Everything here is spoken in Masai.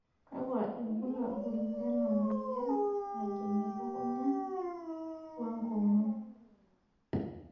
kakua irbulabol lena moyian najing' elukunya we nkomom.